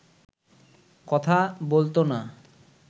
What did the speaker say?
কথা বলতো না